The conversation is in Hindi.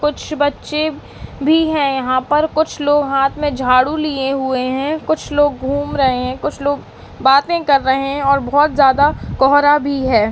कुछ बच्चे भी हैं यहां पर कुछ लोग हाथ में झाड़ू लिए हुए हैं कुछ लोग घूम रहे हैं कुछ लोग बाते कर रहे हैं और बहौत जादा कोहरा भी है।